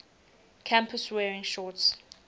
campus wearing shorts